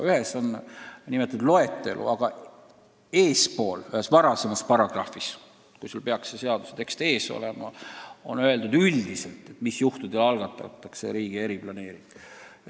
Ühes paragrahvis on jah too loetelu, aga eespool, ühes varasemas paragrahvis, kui sul peaks see seadus ees olema, on öeldud üldiselt, mis juhtudel algatatakse riigi eriplaneering.